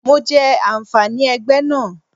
Mo jẹ àǹfààní ẹgbẹ́ náà.